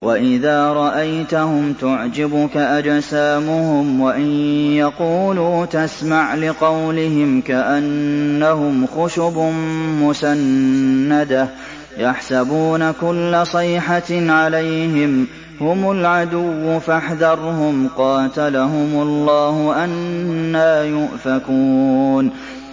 ۞ وَإِذَا رَأَيْتَهُمْ تُعْجِبُكَ أَجْسَامُهُمْ ۖ وَإِن يَقُولُوا تَسْمَعْ لِقَوْلِهِمْ ۖ كَأَنَّهُمْ خُشُبٌ مُّسَنَّدَةٌ ۖ يَحْسَبُونَ كُلَّ صَيْحَةٍ عَلَيْهِمْ ۚ هُمُ الْعَدُوُّ فَاحْذَرْهُمْ ۚ قَاتَلَهُمُ اللَّهُ ۖ أَنَّىٰ يُؤْفَكُونَ